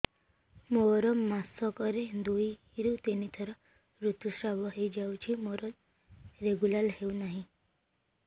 ମୋର ମାସ କ ରେ ଦୁଇ ରୁ ତିନି ଥର ଋତୁଶ୍ରାବ ହେଇଯାଉଛି ମୋର ରେଗୁଲାର ହେଉନାହିଁ